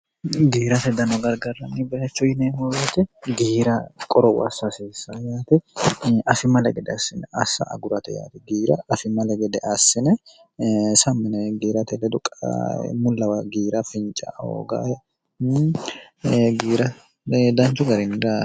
giirate danno gargarranni baacho yine houreote giira qorou assa asissa yaate asi male gede assine assa agurate yaate giira asimmale gede assine samine giirate ledu qmullawa giira finca hoogae giira danchu gariinda